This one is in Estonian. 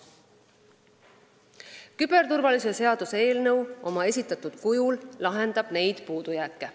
Küberturvalisuse seaduse eelnõu oma esitatud kujul lahendab neid puudujääke.